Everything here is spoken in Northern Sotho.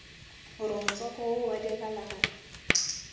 gore motswako wo wa digalagala